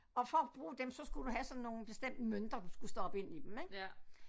Og for at bruge dem så skulle du have sådan nogle bestemte mønter du skulle stoppe ind i dem ik